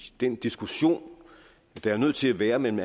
den diskussion der er nødt til at være mellem